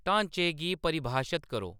ढांचे गी परिभाशत करो